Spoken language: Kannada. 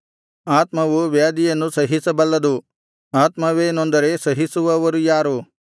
ಆತ್ಮವು ವ್ಯಾಧಿಯನ್ನು ಸಹಿಸಬಲ್ಲದು ಆತ್ಮವೇ ನೊಂದರೆ ಸಹಿಸುವವರು ಯಾರು